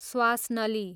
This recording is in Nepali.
स्वास नली